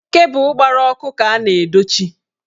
Kebu gbara ọkụ ka a na-edochi.